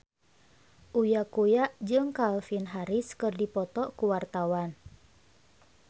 Uya Kuya jeung Calvin Harris keur dipoto ku wartawan